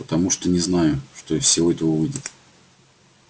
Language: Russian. потому что не знаю что из всего этого выйдет